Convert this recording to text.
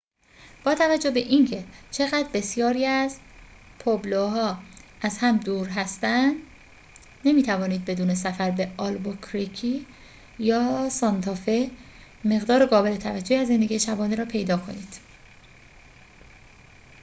با توجه به اینکه چقدر بسیاری از پوئبلوها از هم دور هستند نمی‌توانید بدون سفر به آلبوکرکی یا سانتافه مقدار قابل توجهی از زندگی شبانه را پیدا کنید